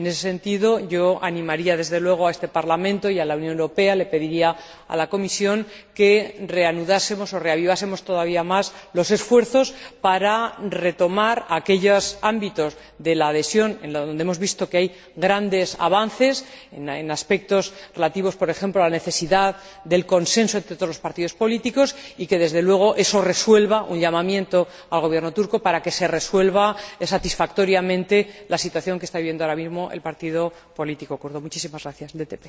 En ese sentido, animaría desde luego a este Parlamento y a la Unión Europea, le pediría a la Comisión, que reanudásemos o reavivásemos todavía más los esfuerzos para retomar aquellos ámbitos de la adhesión en donde hemos visto que hay grandes avances, en aspectos relativos, por ejemplo, a la necesidad del consenso entre todos los partidos políticos y que, desde luego, eso conduzca a un llamamiento al Gobierno turco para que se resuelva satisfactoriamente la situación que está viviendo ahora mismo el partido político kurdo, el DTP.